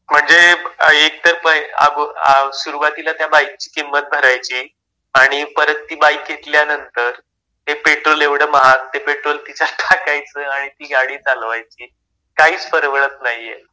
म्हणजे एक तर प अब आ सुरुवातीला त्या बाईकची किंमत भरायची आणि परत ती बाईक घेतल्यानंतर ते पेट्रोल एवढं महाग. ते पेट्रोल तिच्यात टाकायचं आणि ती गाडी चालवायची. काहीच परवडत नाहीये.